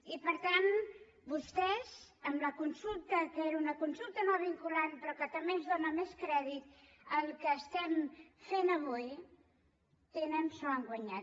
i per tant vostès amb la consulta que era una consulta no vinculant però que també ens dóna més crèdit al que estem fent avui s’ho han guanyat